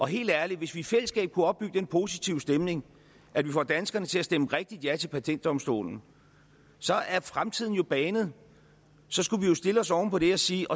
helt ærligt hvis vi i fællesskab kunne opbygge den positive stemning at vi får danskerne til at stemme rigtigt ja til patentdomstolen så er fremtiden jo banet så skulle vi jo stille os oven på det og sige